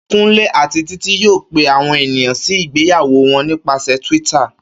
Kúnlé àti Títí yóò pe àwọn ènìyàn sí ìgbéyàwó wọn nípasẹ̀ Twitter